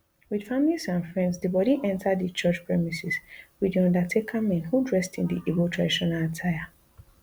wit families and friends di bodi enta di church premises wit di undertaker men who dressed in di igbo traditional attire